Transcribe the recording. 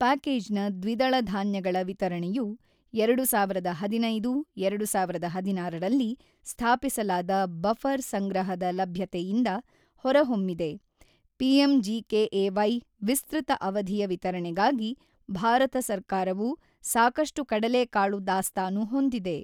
ಪ್ಯಾಕೇಜ್ನ ದ್ವಿದಳ ಧಾನ್ಯಗಳ ವಿತರಣೆಯು ಎರಡು ಸಾವಿರದ ಹದಿನೈದು ಎರಡು ಸಾವಿರದ ಹದಿನಾರರಲ್ಲಿ ಸ್ಥಾಪಿಸಲಾದ ಬಫರ್ ಸಂಗ್ರಹದ ಲಭ್ಯತೆಯಿಂದ ಹೊರಹೊಮ್ಮಿದೆ ಪಿಎಂಜಿಕೆಎವೈ ವಿಸ್ತೃತ ಅವಧಿಯ ವಿತರಣೆಗಾಗಿ ಭಾರತ ಸರ್ಕಾರವು ಸಾಕಷ್ಟು ಕಡಲೆಕಾಳು ದಾಸ್ತಾನು ಹೊಂದಿದೆ.